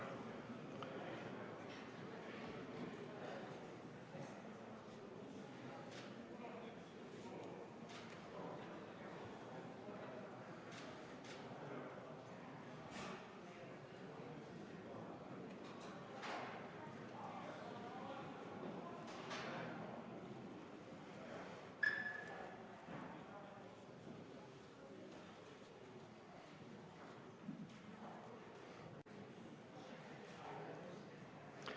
Teeme nüüd kohaloleku kontrolli.